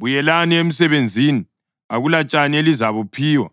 Buyelani emsebenzini. Akulatshani elizabuphiwa.